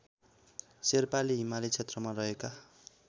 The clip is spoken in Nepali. शेर्पाले हिमाली क्षेत्रमा रहेका